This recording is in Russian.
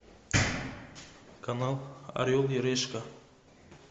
канал орел и решка